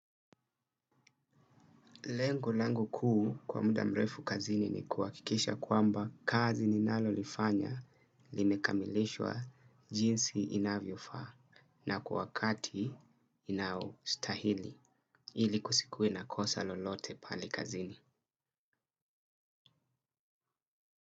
Lengu-lenga kuu kwa muda mrefu kazini ni kuwakikisha kwamba kazi ninalo lifanya limekamilishwa jinsi inavyofaa na kwa wakati inaostahili ili kusikue na kosa lolote pale kazini.